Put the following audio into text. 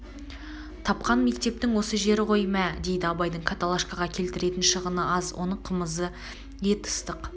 тапқан мектептің осы жері ғой мә дейді абайдың каталашкаға келтіретін шығыны аз оның қымызы ет ыстық